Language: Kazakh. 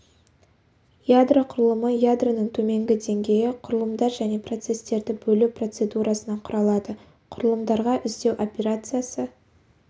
ядро құрылымы ядроның төменгі деңгейі құрылымдар және процестерді бөлу процедурасынан құралады құрылымдарға іздеу операциясы